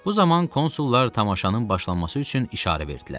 Bu zaman konsullar tamaşanın başlanması üçün işarə verdilər.